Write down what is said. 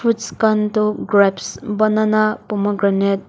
khan toh grapes banana pomegranate .